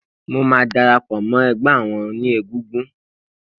Mo máa darapò mó egbé àwon oní egúngún